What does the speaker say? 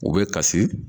U bɛ kasi